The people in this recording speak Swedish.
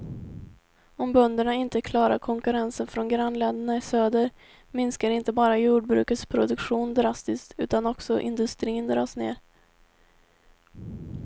Om bönderna inte klarar konkurrensen från grannländerna i söder, minskar inte bara jordbrukets produktion drastiskt utan också industrin dras med.